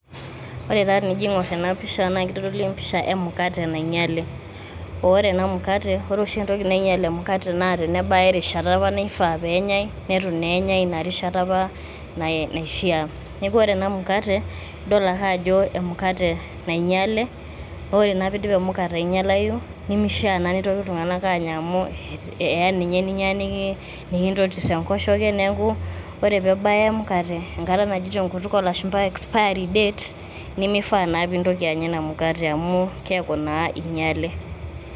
Ore taa tenijo aing`or ena pisha naa ketodolu empisha e mukate nainyiale. Aaa ore ena mukate, ore oshi entoki nainyial emukate naa tenebaya apa erishata naifaa pee enyai neitu naa enyai ina rishata apa naishiaa. Niaku ore ena mukate idol ake ajo emukate nainyiale. Ore naa pee idip e mukate ainyialayu nimishia naa neitoki iltung`anak aanya amu, eya ninye ninyia nikintotir enkoshoke niaku ore pee ebaya emukate enkata naji te nkutuk oo lashumpa expiry date nimifaa naa nintoki anya ina mukate amu keaku naa inyiale.